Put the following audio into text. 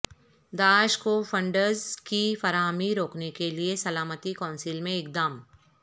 داعش کو فنڈز کی فراہمی روکنے کے لیے سلامتی کونسل میں اقدام